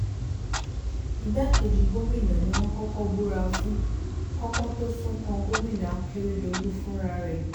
igbákejì gómìnà ni wọ́n kọ́kọ́ búra fún kí ọpọ́n tóó sún kan gómìnà akérèdọ́lù fúnra rẹ̀